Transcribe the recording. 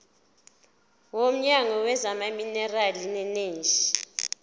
womnyango wezamaminerali neeneji